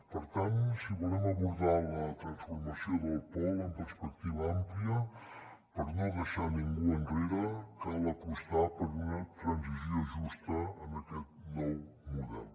per tant si volem abordar la transformació del pol amb perspectiva àmplia per no deixar ningú enrere cal apostar per una transició justa en aquest nou model